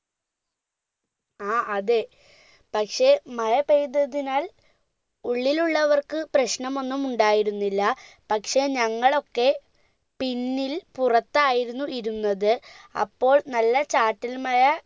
ആ അതെ പക്ഷെ മഴ പെയ്തതിനാൽ ഉള്ളിലുള്ളവർക്ക് പ്രശ്നമൊന്നും ഉണ്ടായിരുന്നില്ല പക്ഷെ ഞങ്ങളൊക്കെ പിന്നിൽ പുറത്തായിരുന്നു ഇരുന്നത് അപ്പോൾ നല്ല ചാറ്റൽമഴ